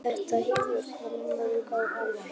Þetta hefur komið mörgum á óvart